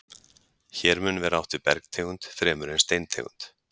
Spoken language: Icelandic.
Hér mun vera átt við bergtegund fremur en steintegund.